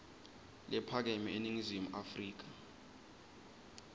lephakeme eningizimu afrika